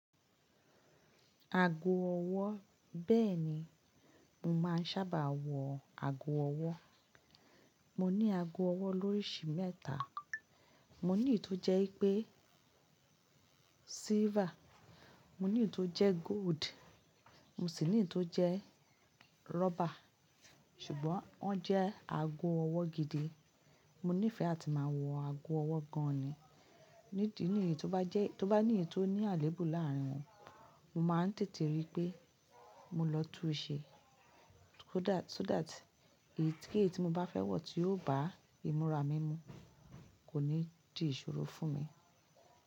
Aago ọwọ́ bẹ́ẹ̀ni, mo máa ń sábà wọ aago ọwọ́. Mo ní aago ọwọ́ lóríṣi mẹ́ta. Mo ní èyí tó jẹ́ wipé silver, mo ní èyí tó jẹ́ gold, mo sì ní èyí tó jẹ́ rubber. Ṣùgbọ́n wọ́n jẹ́ aago ọwọ́ gidi. Mo nífẹ̀ẹ́ àti máa wọ aago ọwọ́ gan ni. Nídi níyí tó bá jẹ́, tó bá ní èyí tó ní àléébù láàárín wọn, mo máa ń tètè rí pé mo lọ túun ṣe. So that, eyiikeyii tí mo bá fẹ́ wọ̀ tí yóò bá ìmúra mi mu kò ní di ìṣòro fún mi.